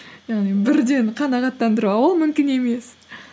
яғни бірден қанағаттандыру а ол мүмкін емес